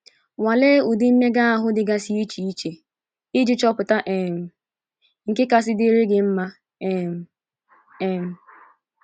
Nwalee ụdị mmega ahụ dịgasị iche iji chọpụta um nke kasị dịrị gị mma um. um